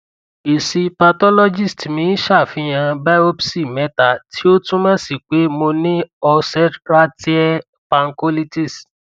èsì pathologist mi ṣàfihàn biopsy mẹta tí ó túmọ si pé mo ní ulceratiẹe pancolitis